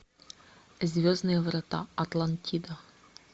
звездные врата атлантида